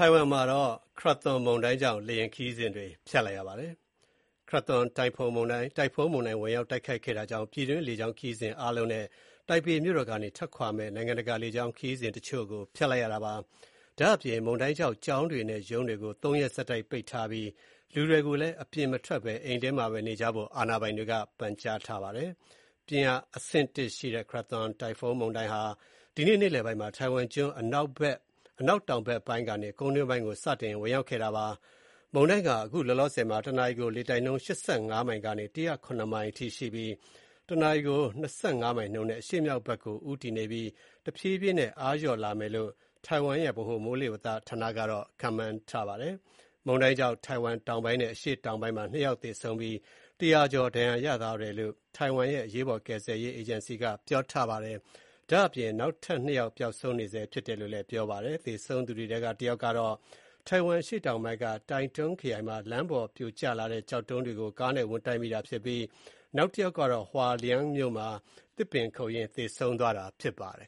ိုင်ဝမ်မှာ Krathon တိုင်ဖွန်းမုန်တိုင်းဝင်ရောက် တိုက်ခတ်ခဲ့တာကြောင့် ပြည်တွင်းလေကြောင်းခရီးစဉ်တွေ အားလုံး နဲ့ တိုင်ပေမြို့တော်ကနေ ထွက်ခွာမယ့် နိုင်ငံတကာလေကြောင်းခရီးစဉ်တချို့ကို ဖျက်လိုက်ရပါတယ်။ ဒါ့အပြင် မုန်တိုင်းကြောင့် ကျောင်းတွေနဲ့ ရုံးတွေကို ၃ ရက် ဆက်တိုက်ပိတ်ထားပြီး လူတွေကိုလည်း အပြင်မထွက်ဘဲ အိမ်ထဲမှာပဲ နေကြဖို့ အာဏာပိုင်တွေက ပန်ကြားထားပါတယ်။ ပြင်းအားအဆင့် ၁ ရှိတဲ့ Krathon တိုင်ဖုန်းမုန်တိုင်းဟာ ဒီနေ့နေ့လယ်ပိုင်းမှာ တိုင်ဝမ်ကျွန်း အနောက်တောင်ဘက်ပိုင်းကနေ ကုန်းတွင်းကို စတင်ဝင်ရောက်ခဲ့တာပါ။ မုန်တိုင်းက အခုလောလောဆယ်မှာ ၁ နာရီကို လေတိုက်နှုန်း ၈၅ မိုင်ကနေ ၁၀၇ မိုင်းအထိရှိပြီး၊ ၁ နာရီကို ၂.၅ မိုင်နှုန်းနဲ့ အရှေ့မြောက်ဘက်ကို ဦတည်နေပြီး တဖြည်းဖြည်းနဲ့ အားလျော့လာမယ်လို့ တိုင်ဝမ်ရဲ့ ဗဟိုမိုးလေဝသဌာနက ခန့်မှန်းထားပါတယ်။ မုန်တိုင်းကြောင့် ထိုင်ဝမ်တောင်ပိုင်း နဲ့ အရှေ့တောင်ပိုင်းမှာ၂ ယောက် သေဆုံးပြီး၊ ၁၀၀ ကျော် ဒဏ်ရာရသွားတယ်လို့ တိုင်ဝမ်ရဲ့ အရေးပေါ် ကယ်ဆယ်ရေးအေဂျင်စီက ပြောပါတယ်။ ဒါ့အပြင် နောက်ထပ် ၂ ယောက် ပျောက်ဆုံးနေဆဲဖြစ်တယ်လို့ ပြောပါတယ်။ သေဆုံးသူတွေထဲက တယောက်ကတော့ တိုင်ဝမ်အရှေ့တောင်ပိုင်းက Taitung ခရိုင်မှာ လမ်းပေါ်ပြိုကျလာတဲ့ကျောက်တုံးတွေကို ကားနဲ့ဝင်တိုက်မိတာဖြစ်ပြီး နောက်တယောက်ကတော့ Hualien မြို့မှာ သစ်ပင်ခုတ်ရင်းသေဆုံးသွားတာဖြစ်ပါတယ်